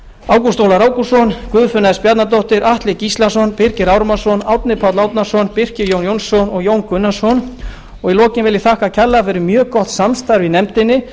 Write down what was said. ágúst ólafur ágústsson guðfinna s bjarnadóttir atli gíslason birgir ármannsson árni páll árnason birkir jón jónsson og jón gunnarsson í lokin vil ég þakka kærlega fyrir mjög gott samstarf í nefndinni